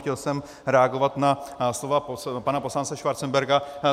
Chtěl jsem reagovat na slova pana poslance Schwarzenberga.